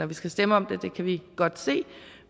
vi skal stemme om det det kan vi godt se